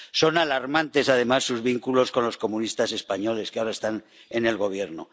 Son alarmantes, además, sus vínculos con los comunistas españoles, que ahora están en el Gobierno.